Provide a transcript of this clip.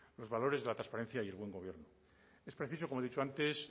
los valores de la transparencia y el buen gobierno es preciso como he dicho antes